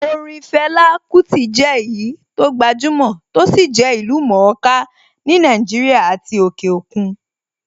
Orin Fela Kuti jẹ́ èyí tó gbajúmọ̀ tó sì jẹ́ ìlú-mọ̀-ó-ká ní Nàìjíríà àti òkè òkun.